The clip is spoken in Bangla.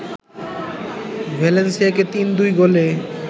ভ্যালেন্সিয়াকে ৩-২ গোলে